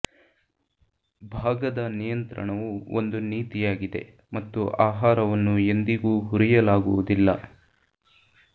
ಭಾಗದ ನಿಯಂತ್ರಣವು ಒಂದು ನೀತಿಯಾಗಿದೆ ಮತ್ತು ಆಹಾರವನ್ನು ಎಂದಿಗೂ ಹುರಿಯಲಾಗುವುದಿಲ್ಲ